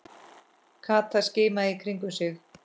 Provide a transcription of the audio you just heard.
Kata skimaði í kringum sig.